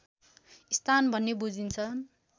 स्थान भन्ने बुझिन्छ